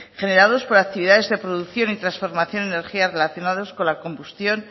generados por actividades de producción y transformación de energía relacionados con la combustión